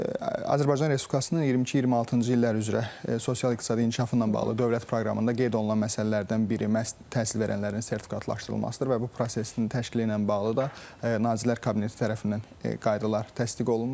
Azərbaycan Respublikasının 22-26-cı illər üzrə sosial-iqtisadi inkişafı ilə bağlı dövlət proqramında qeyd olunan məsələlərdən biri məhz təhsil verənlərin sertifikatlaşdırılmasıdır və bu prosesin təşkili ilə bağlı da Nazirlər Kabineti tərəfindən qaydalar təsdiq olunmuşdu.